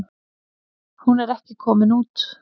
Hún er ekki komin út.